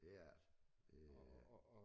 Det er det øh